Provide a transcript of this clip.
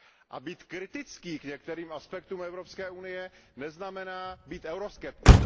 A být kritický k některým aspektům Evropské unie neznamená být euroskeptik.